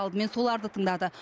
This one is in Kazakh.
алдымен соларды тыңдады